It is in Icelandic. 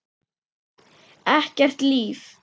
Ekkert líf.